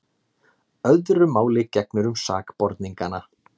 Öðru máli gegnir um sakborningana.